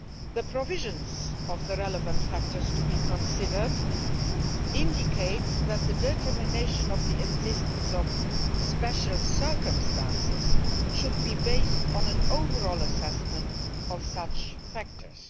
The provisions of the relevant factors to be considered indicate that determining the incidence of special circumstances should be based on an overall assessment of such factors.